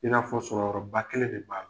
I n'a fɔ sɔrɔ yɔrɔ ba kelen de n'a la.